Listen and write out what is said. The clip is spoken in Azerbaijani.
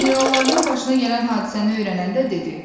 Generallarının başına gələn hadisəni öyrənəndə dedi: